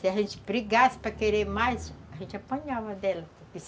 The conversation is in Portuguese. Se a gente brigasse para querer mais, a gente apanhava dela.